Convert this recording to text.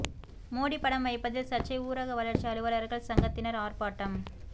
மோடி படம் வைப்பதில் சர்ச்சை ஊரக வளர்ச்சி அலுவலர்கள் சங்கத்தினர் ஆர்ப்பாட்டம்